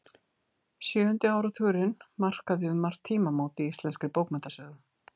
Sjöundi áratugurinn markaði um margt tímamót í íslenskri bókmenntasögu.